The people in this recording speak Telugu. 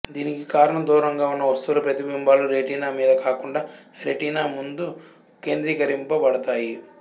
దీనికి కారణం దూరంగా ఉన్న వస్తువుల ప్రతిబింబాలు రెటీనా మీద కాకుండా రెటీనా ముందు కేంద్రీకరింపబడతాయి